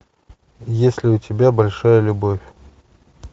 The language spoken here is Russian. есть ли у тебя большая любовь